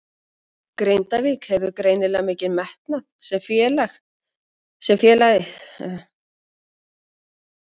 Grindavík hefur greinilega mikinn metnað sem félagið sýnir með því að fá þig hingað?